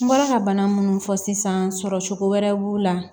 N bɔra ka bana munnu fɔ sisan sɔrɔ cogo wɛrɛw b'u la